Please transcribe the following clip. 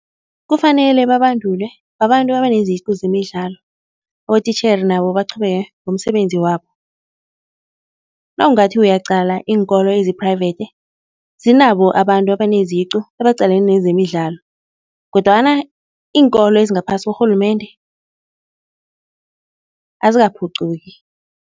Kufanele babandulwe babantu abaneziqu zemidlalo, abotitjhere nabo baqhubeke ngomsebenzi wabo. Nawungathi uyaqala iinkolo ezi-private, zinabo abantu abaneziqu ebaqalene nezemidlalo kodwana iinkolo ezingaphasi korhulumende azikaphuquki.